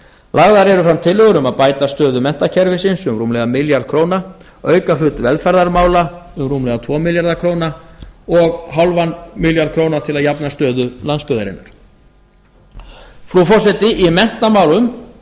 lagðar eru fram tillögur um að bæta stöðu menntakerfisins um rúmlega milljarð króna auka hlut velferðarmála um rúmlega tvo milljarða króna og hálfan milljarð króna til að jafna stöðu landsbyggðarinnar frú forseti í menntamálum